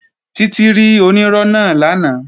Títí rí onírọ́ náà lánàá